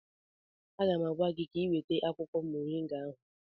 Aga m agwa gị mgbe ịga eweta akwụkwọ moringa ahụ